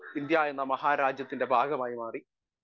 Speaker 1 ഇന്ത്യയെന്ന മഹാ രാജ്യത്തിൻ്റെ ഭാഗമായിമാറി.